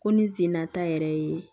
Ko ni senna ta yɛrɛ ye